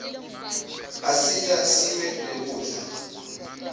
asita sibe nekudla